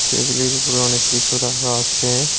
টেবিলের উপর অনেক কিছু রাখা আছে।